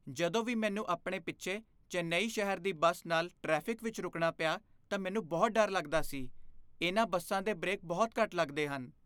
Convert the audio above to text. ਜਦੋਂ ਵੀ ਮੈਨੂੰ ਆਪਣੇ ਪਿੱਛੇ ਚੇਨੱਈ ਸ਼ਹਿਰ ਦੀ ਬੱਸ ਨਾਲ ਟ੍ਰੈਫਿਕ ਵਿੱਚ ਰੁਕਣਾ ਪਿਆ ਤਾਂ ਮੈਨੂੰ ਬਹੁਤ ਡਰ ਲੱਗਦਾ ਸੀ। ਇਨ੍ਹਾਂ ਬੱਸਾਂ ਦੇ ਬ੍ਰੇਕ ਬਹੁਤ ਘੱਟ ਲੱਗਦੇ ਹਨ।